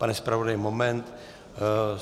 Pane zpravodaji, moment.